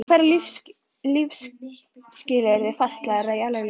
Að færa lífsskilyrði fatlaðra í eðlilegt horf.